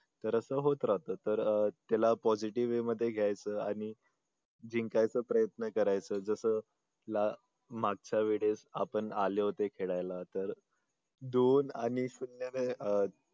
तर असं होत राहत तर त्याला positive way मध्ये घ्यायचं आणि जिंकायचा प्रयत्न करायच तसं मागच्या वेळेस आपण आले होते खेळायला तर दोन आणि शून्य अह